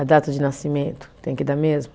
A data de nascimento, tem que dar mesmo?